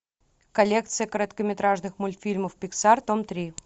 коллекция короткометражных мультфильмов пиксар том три